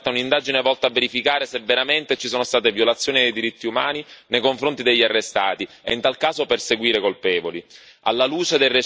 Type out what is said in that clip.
Allo stesso tempo, va aperta un'indagine volta a verificare se veramente ci sono state violazioni dei diritti umani nei confronti degli arrestati e, in tal caso, perseguire i colpevoli.